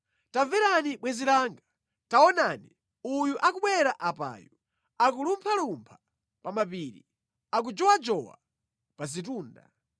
Tamverani bwenzi langa! Taonani! Uyu akubwera apayu, akulumphalumpha pa mapiri, akujowajowa pa zitunda.